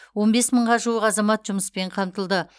он бес мыңға жуық азамат жұмыспен қамтылды